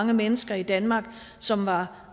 mange mennesker i danmark som var